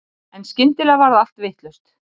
En skyndilega varð allt vitlaust.